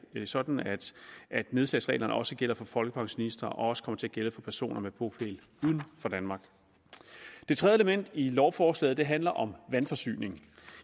sådan at nedslagsreglerne også gælder for folkepensionister og også kommer til at gælde for personer med bopæl uden for danmark det tredje element i lovforslaget handler om vandforsyning